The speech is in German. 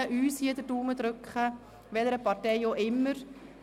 Ich werde uns allen den Daumen drücken, welcher Partei auch immer Sie angehören.